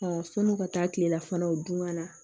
fo n'u ka taa kilelafanaw dun ka na